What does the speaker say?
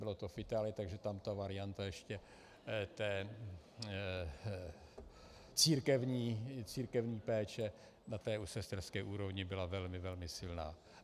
Bylo to v Itálii, takže tam ta varianta ještě církevní péče na té sesterské úrovni byla velmi, velmi silná.